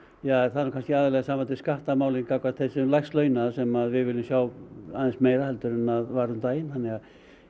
það er nú kannski aðallega í sambandi við skattamálin gagnvart þeim lægst launuðu sem við viljum sjá aðeins meira heldur en að var um daginn þannig að